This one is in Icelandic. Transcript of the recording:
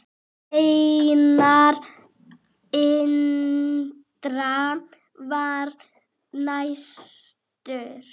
Einar Indra var næstur.